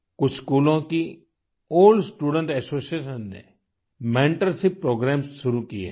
कुछ स्कूलों की ओल्ड स्टूडेंट एसोसिएशन ने मेंटरशिप प्रोग्रामेस शुरू किए हैं